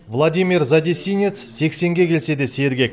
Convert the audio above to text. владимир задесинец сексенге келсе де сергек